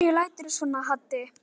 Af hverju læturðu svona Haddi?